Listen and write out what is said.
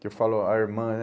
Que eu falo a irmã, né?